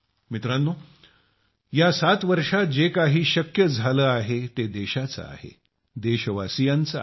मित्रांनो या 7 वर्षात जे काही साध्य झाले आहे ते देशाचे आहे देशवासियांचे आहे